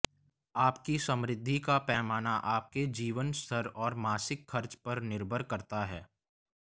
आपकी समृद्धि का पैमाना आपके जीवन स्तर और मासिक खर्च पर निर्भर करता है